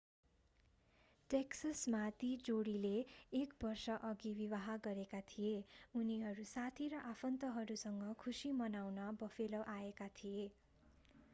टेक्ससमा ती जोडीले एक वर्षअघि विवाह गरेका थिए उनीहरू साथी र आफन्तहरूसँग खुशी मनाउन बफेलो आएका थिए